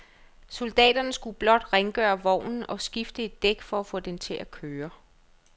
Soldaterne skulle blot rengøre vognen og skifte et dæk for at få den til at køre.